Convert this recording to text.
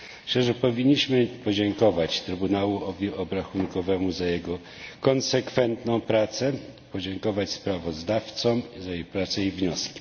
Myślę, że powinniśmy podziękować Trybunałowi Obrachunkowemu za jego konsekwentną pracę, podziękować sprawozdawcom za ich pracę i wnioski.